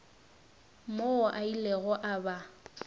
moo a ilego a ba